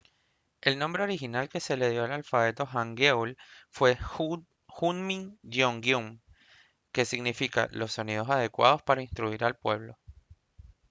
el nombre original que se le dio al alfabeto hangeul fue hunmin jeongeum que significa «los sonidos adecuados para instruir al pueblo»